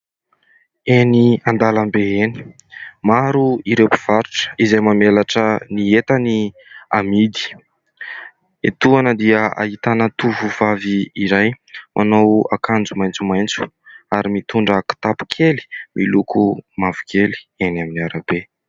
Eny an-dalambe eny maro ireo mpivarotra izay mamelatra ny entany hamidy. Etoana dia ahitana tovovavy iray manao akanjo maitsomaitso ary mitondra kitapo kely miloko mavokely eny amin'ny arabe.